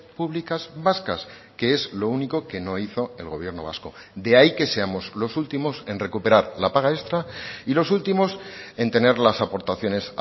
públicas vascas que es lo único que no hizo el gobierno vasco de ahí que seamos los últimos en recuperar la paga extra y los últimos en tener las aportaciones